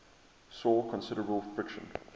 saw considerable friction